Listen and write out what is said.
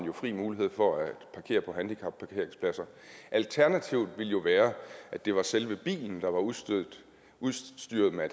har fri mulighed for at parkere på handicapparkeringspladser alternativet ville jo være at det var selve bilen der var udstyret udstyret med